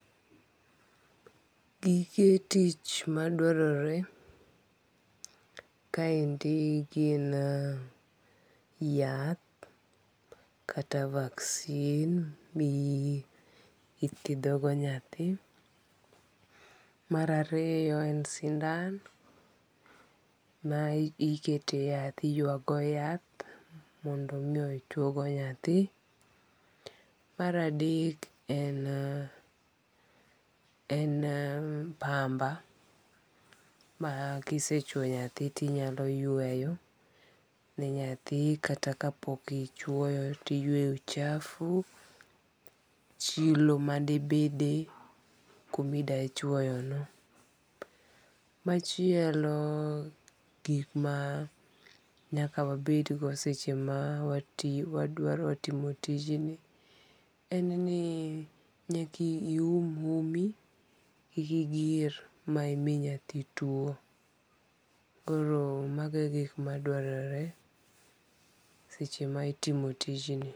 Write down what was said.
Gige tich maduarore kaendi gi yath, kata vaccine mithiethogo nyathi. Marariyo en sindan ma iketo e yath iywago yath mondo mi ochwogo nyathi. Maradek en en pamba ma kisechwo nyathi ti inyalo yweyo nenyathi kata kapo ni pok ichwoyo ti iyweyo ochafu chilo madibede kuma ida chwoyono machielo. Gik ma nyaka wabedgo sechema wadwaro timo tijni, en ni nyaka ium umi kiki igir ma imi nyathitwo, koro magie gik ma dwarore seche ma itimo tijni.